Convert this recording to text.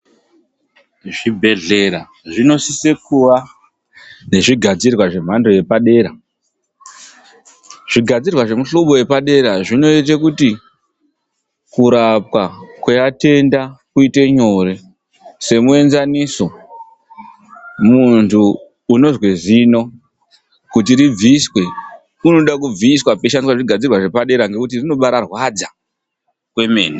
Zvibhedhlera zvinosisa kuva nezvigadzirwa zvemhando yepadera. Zvigadzirwa zvemuhlobo wepadera zvinoita kuti kurapwa kwevatenda kuite nyore. Semuenzaniso mundu anozwe zino, kuti ribviswe rinode kubviswa peyishandiswa zvigadzirwa zvepadera nekuti rinombairwadza kwemene.